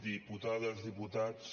diputades diputats